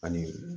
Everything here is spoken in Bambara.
Ani